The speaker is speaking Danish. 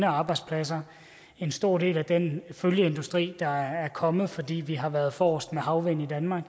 arbejdspladser en stor del af den følgeindustri der er kommet fordi vi har været forrest med havvind i danmark